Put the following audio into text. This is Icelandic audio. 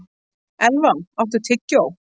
Elfa, áttu tyggjó?